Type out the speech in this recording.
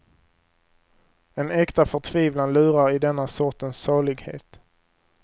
En äkta förtvivlan lurar i denna sortens salighet.